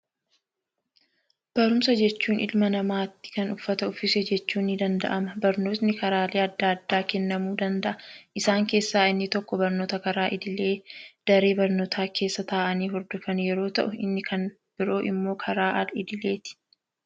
Barumsa jechuun ilma namaatti kan uffata uffise jechuun ni danda'ama. Barnootni karaalee addaa addaa kennamuu danda'a. Isaan keessaa inni tokko, barnoota karaa idilee daree barnootaa keessa taa'anii hodofanii yeroo ta'u, inni kan biraa immoo karaa al idileeti